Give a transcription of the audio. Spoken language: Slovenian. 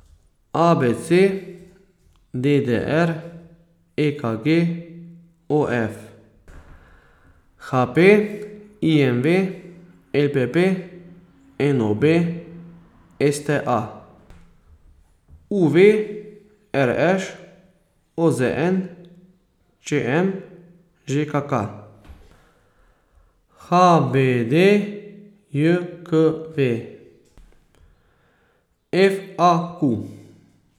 A B C; D D R; E K G; O F; H P; I M V; L P P; N O B; S T A; U V; R Š; O Z N; Č M; Ž K K; H B D J K V; F A Q.